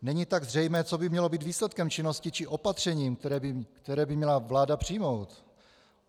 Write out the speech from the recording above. Není tak zřejmé, co by mělo být výsledkem činnosti či opatřením, které by měla vláda přijmout.